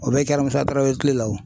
O bɛɛ kɛra Musa Tarawele kile la.